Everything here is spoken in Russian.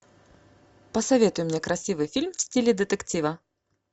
посоветуй мне красивый фильм в стиле детектива